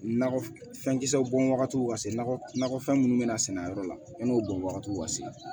Na fɛn kisɛw bɔn wagatiw ka se nakɔ nakɔfɛn minnu bɛna sɛnɛ a yɔrɔ la yanni o bɔn wagatiw ka se